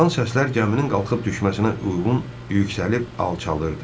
Çıxan səslər gəminin qalxıb düşməsinə uyğun yüksəlib alçalırdı.